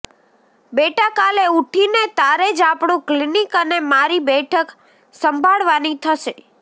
બેટા કાલે ઉઠી ને તારે જ આપણું ક્લિનિક અને મારી બેઠક સંભાળવાની થશે